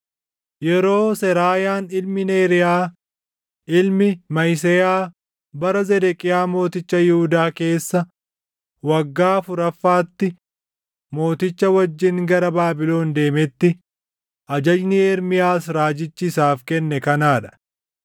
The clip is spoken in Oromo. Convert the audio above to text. Yeroo Seraayaan ilmi Neeriyaa, ilmi Mahiseyaa bara Zedeqiyaa mooticha Yihuudaa keessa waggaa afuraffaatti mooticha wajjin gara Baabilon deemetti ajajni Ermiyaas Raajichi isaaf kenne kanaa dha.